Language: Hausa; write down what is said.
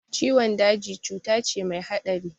Ciwon daji cuta ce mai haɗari